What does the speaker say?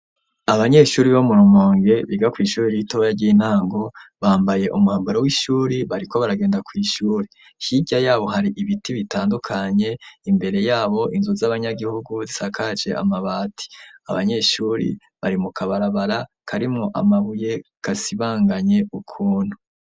Abanyeshure bo mu Rumonge biga kw'ishure ritoya ry'intango bambaye umwambaro w'ishure bariko bagenda kw'ishure, hirya yabo hari ibiti bitandukanye imbere yabo inzu z'abanyagihugu zisakaje amabati, abanyeshure bari mu kabarabara karimwo amabuye gasibanganye ukuntu.